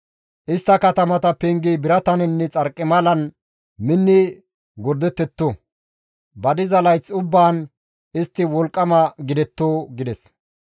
Istta katamata pengeti birataninne xarqimalan minni gordetetto; ba diza layth ubbaan istti wolqqama gidetto» gides.